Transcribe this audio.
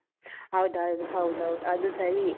ಹೌದು ಅದು ಹೌದೌದು ಅದು ಸರಿಯೇ.